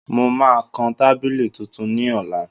Mo máa kan tábìlì tuntun ní ọ̀la